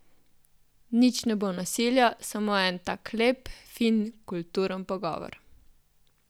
Nič ne bo nasilja, samo en tak lep, fin, kulturen pogovor.